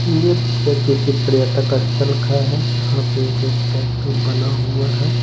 ये पिक्चर किसी पर्यटक स्थल का है जहां पे एक स्टैचू बना हुआ है।